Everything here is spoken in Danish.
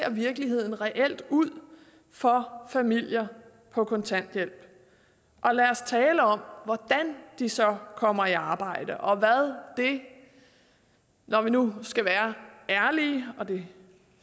virkeligheden reelt ser ud for familier på kontanthjælp og lad os tale om hvordan de så kommer i arbejde og hvad det når vi nu skal være ærlige og det